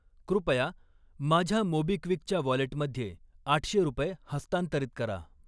कृपया माझ्या मोबिक्विकच्या वॉलेटमध्ये आठशे रुपये हस्तांतरित करा.